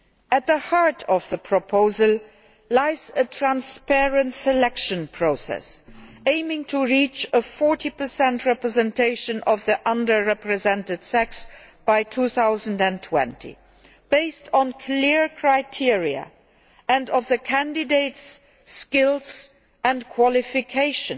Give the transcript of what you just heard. At the heart of the proposal lies a transparent selection process aiming to reach a 40 representation of the under represented sex by 2020 based on clear criteria and the candidates' skills and qualifications.